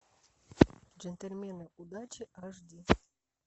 джентльмены удачи аш ди